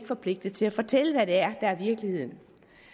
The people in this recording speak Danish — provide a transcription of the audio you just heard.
forpligtet til at fortælle hvad det er der er virkeligheden